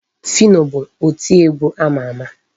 Phyno bụ oti egwu ama ama.